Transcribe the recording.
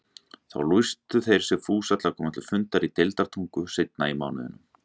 Þá lýstu þeir sig fúsa að koma til fundar í Deildartungu seinna í mánuðinum.